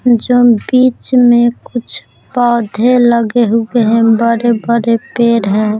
जो बीच में कुछ पौधे लगे हुए हैं बरे बरे पेड़ है।